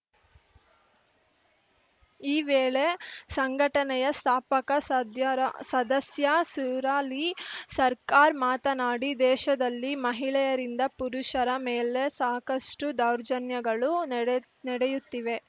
ಈ ವೇಳೆ ಸಂಘಟನೆಯ ಸ್ಥಾಪಕ ಸದ್ಯರ ಸದಸ್ಯ ಸುರಾಲಿ ಸರ್ಕಾರ್‌ ಮಾತನಾಡಿ ದೇಶದಲ್ಲಿ ಮಹಿಳೆಯರಿಂದ ಪುರುಷರ ಮೇಲೆ ಸಾಕಷ್ಟುದೌರ್ಜನ್ಯಗಳು ನಡೆಯು ನಡೆಯುತ್ತಿವೆ